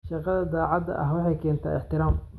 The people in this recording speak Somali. Shaqada daacadda ah waxay keentaa ixtiraam.